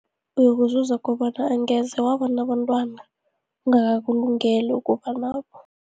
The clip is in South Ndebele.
Uyokuzuza kobana angeze wabanabantwana, angakakulungeli ukuba nabo.